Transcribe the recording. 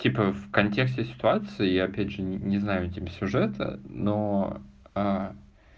типа в контексте ситуации и опять же не знаю типа сюжета но